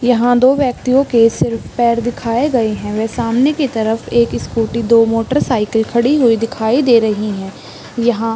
यहाँ दो व्यक्तियों के सिर्फ पैर दिखाए गए है वे सामने की तरफ एक स्कूटी दो मोटरसाइकिल खड़ी हुई दिखाई दे रही है यहाँ --